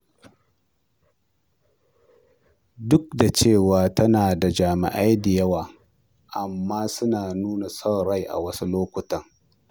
Duk da cewa tana da jami'ai da yawa, amma suna nuna son rai a wasu lokutan.